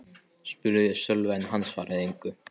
spurði ég Sölva en hann svaraði engu.